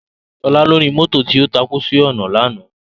Sola lóni mòtó tó tákú si òná làná